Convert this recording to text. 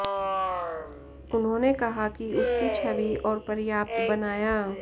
उन्होंने कहा कि उसकी छवि और पर्याप्त बनाया